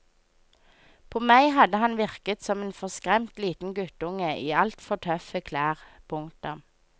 På meg hadde han virket som en forskremt liten guttunge i altfor tøffe klær. punktum